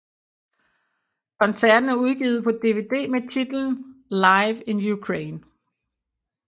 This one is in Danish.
Koncerten er udgivet på DVD med titlen Live in Ukraine